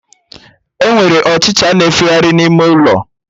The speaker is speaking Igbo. Enwere Ọchịcha na-efegharị n'ime ụlọ